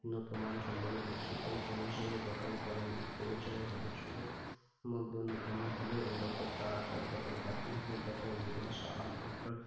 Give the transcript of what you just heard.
উন্নত মানসম্পন্ন বিশ্ববিদ্যালয় commission গঠন করেন। এই commission এর সদস্যদের মধ্যে অন্যতম হলেও doctor Tarachand, doctor Zakir Hussain, doctor নিগ্রো সাহা, doctor